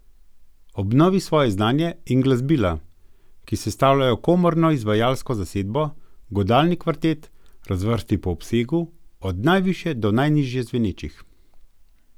Obnovi svoje znanje in glasbila, ki sestavljajo komorno izvajalsko zasedbo godalni kvartet, razvrsti po obsegu, od najvišje do najnižje zvenečih.